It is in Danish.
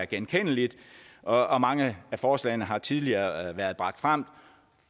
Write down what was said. genkendeligt og mange af forslagene har tidligere været bragt frem